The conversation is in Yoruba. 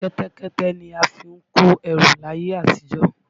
Kẹ́tẹ́kẹ́tẹ́ ni a fi ń kó ẹrù làyè àtijọ́.